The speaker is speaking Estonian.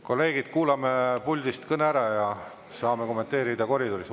Kolleegid, kuulame puldist kõne ära, kommenteerida saate koridoris.